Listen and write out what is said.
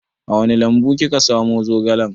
A wani lambu kika samu zogalan?